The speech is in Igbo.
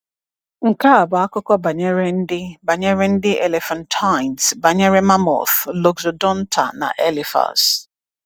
Nke a bụ akụkọ banyere ndị banyere ndị elephantines: banyere mammoths, Loxodonta na Elephas.